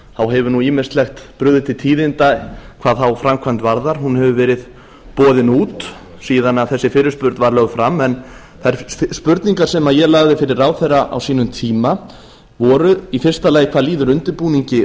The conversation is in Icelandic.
þá hefur nú ýmislegt brugðið til tíðinda hvað þá framkvæmd varðar hún hefur verið boðin út síðan þessi fyrirspurn var lögð fram en þær spurningar sem ég lagði fyrir ráðherra á sínum tíma voru í fyrsta lagi hvað líður undirbúningi